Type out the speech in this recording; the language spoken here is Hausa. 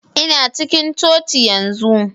Ina cikin coci yanzu.